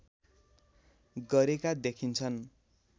गरेका देखिन्छन्